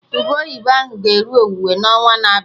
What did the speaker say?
Ube oyibo ahụ ga-eru owuwe n'ọnwa na-abịa